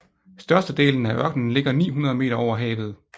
Størstedelen af ørkenen ligger 900 meter over havet